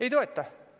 Ei toeta.